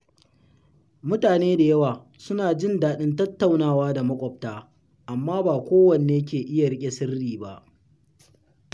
Mutane da yawa suna jin daɗin tattaunawa da maƙwabta, amma ba kowa ne ke iya riƙe sirri ba.